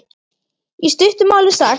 Í stuttu máli sagt.